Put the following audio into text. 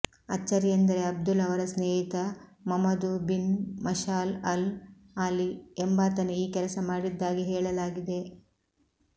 ಅಚ್ಚರಿಯೆಂದರೆ Abdul ಅವರ ಸ್ನೇಹಿತ Mamadou bin Meshal Al Ali ಎಂಬಾತನೇ ಈ ಕೆಲಸ ಮಾಡಿದ್ದಾಗಿ ಹೇಳಲಾಗಿದೆ